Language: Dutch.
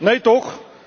Nee toch!